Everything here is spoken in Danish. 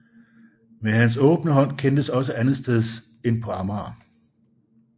Men hans åbne hånd kendtes også andetsteds end på amager